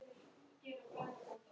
Ég hrökk undan.